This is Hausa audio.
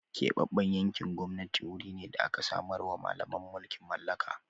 Keɓaɓɓen yankin gwamnati guri ne da da aka samarwa Mallaman mulkin mallaka.